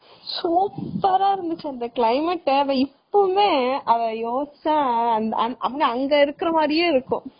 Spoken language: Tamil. Super ரா இருந்துச்சு அந்த climate இப்பையுமே அங்க இருக்குறமாதிரியே இருக்கும்.